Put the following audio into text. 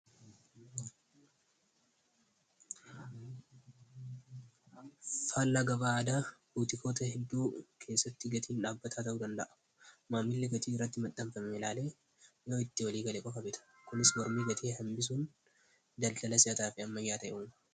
faallagabaada buutikoota hedduu keessatti gatiin dhaabbataa ta'uu danda'a maammiilli gatii irratti maxxanfame ilaalee yoo itti walii galee bokabeta kunis warmii gatii hambisuun daldala siyataa fi amman yaata ye'uun